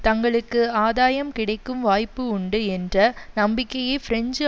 தங்களுக்கு ஆதாயம் கிடைக்கும் வாய்ப்பு உண்டு என்ற நம்பிக்கையை பிரெஞ்சு